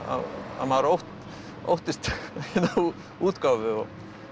að maður óttist útgáfu